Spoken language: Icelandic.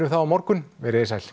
það á morgun veriði sæl